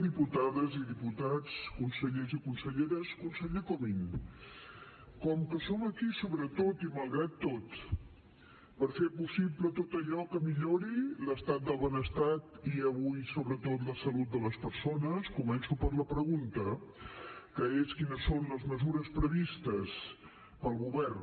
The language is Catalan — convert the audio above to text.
diputades i diputats consellers i conselleres conseller comín com que som aquí sobretot i malgrat tot per fer possible tot allò que millori l’estat del benestar i avui sobretot la salut de les persones començo per la pregunta que és quines són les mesures previstes pel govern